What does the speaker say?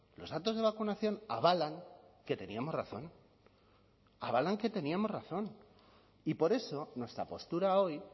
los datos de vacunación avalan que teníamos razón avalan que teníamos razón y por eso nuestra postura hoy